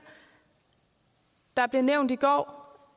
der blev nævnt i går